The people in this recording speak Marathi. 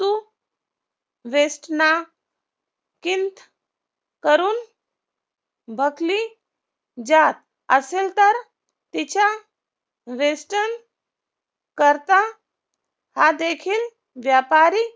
करून बाक्ली जात असेल तर तिच्या western करता हा देखील व्यापारी